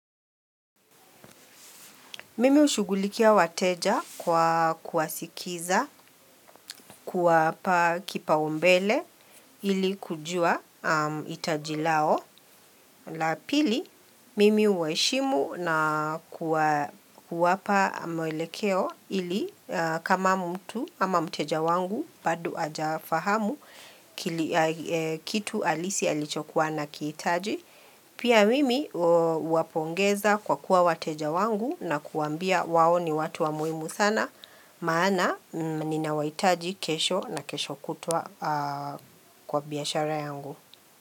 Mimi hushugulikia wateja kwa kuwasikiza kuwapa kipaumbele ili kujua hitaji lao. La pili, mimi huwa heshimu na kuwapa mwelekeo ili kama mtu ama mteja wangu bado haja fahamu kitu halisi alichokuwa anakihitaji. Pia mimi huwapongeza kwa kuwa wateja wangu na kuwaambia wao ni watu wa muhimu sana, maana ninawahitaji kesho na kesho kutwa kwa biashara yangu.